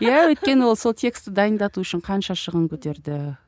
иә өйткені ол сол тексті дайындату үшін қанша шығын көтерді